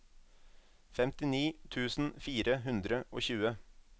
femtini tusen fire hundre og tjue